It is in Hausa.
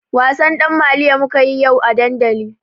Wasan ɗan maliyo mukayi yau a dandali.